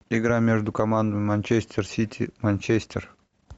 игра между командами манчестер сити манчестер